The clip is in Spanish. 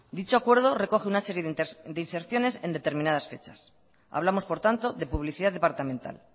dicho acuerdo recoge una serie de inserciones en determinadas fechas hablamos por tanto de publicidad departamental